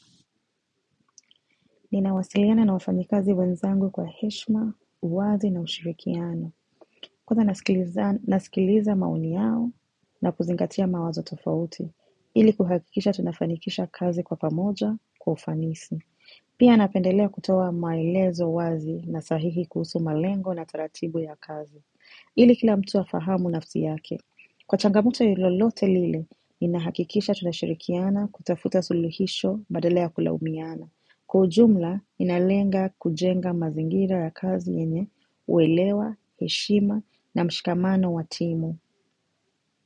Ninawasiliana na wafanyikazi wenzangu kwa heshima, uwazi na ushirikiano. Kuwa na nasikiliza maoni yao na kuzingatia mawazo tofauti. Ili kuhakikisha tunafanikisha kazi kwa pamoja kwa ufanisi. Pia napendelea kutoa maelezo wazi na sahihi kuhusu malengo na taratibu ya kazi. Ili kila mtu afahamu nafsi yake. Kwa changamoto lolote lile, ninahakikisha tunashirikiana kutafuta suluhisho badala kulaumiana. Kwa ujumla ninalenga kujenga mazingira ya kazi yenye uwelewa, heshima na mshikamano wa timu.